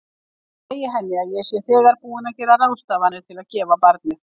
Ég segi henni að ég sé þegar búin að gera ráðstafanir til að gefa barnið.